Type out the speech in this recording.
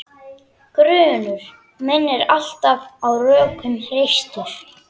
Grunur minn er alltaf á rökum reistur.